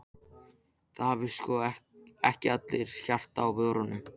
Það hafa sko ekki allir hjartað á vörunum.